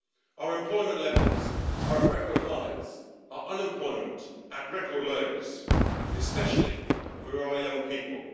Our employment levels are at record highs, our unemployment at record lows, especially for our young people.